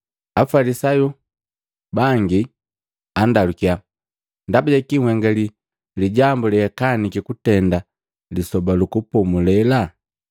Afalisayu bangi andalukiya, “Ndaba jakii nhenga lijambo leakaniki kutenda Lisoba lu Kupomulela?”